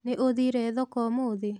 Nĩ ũthire thoko ũmũthĩ?